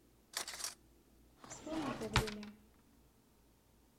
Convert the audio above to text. вспомни то время